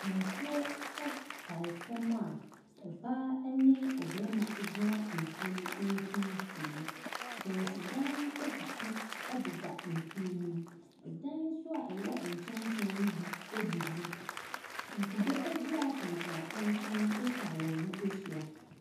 Nsuo tae fam a ɔbaa ne ɔbarima gyina nsuo no mfimfin, kyɛnsedan etutu deda nsu ne mu, dan nso a ɛwɔ nkyɛnkyɛn ne bi abubu. Nkube dua atenten atenten atwa wɔn ho ahyia.